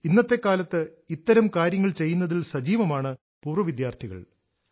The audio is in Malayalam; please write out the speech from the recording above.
ഇന്നത്തെക്കാലത്ത് ഇത്തരം കാര്യങ്ങൾ ചെയ്യുന്നതിൽ സജീവമാണ് പൂർവ വിദ്യാർഥികൾ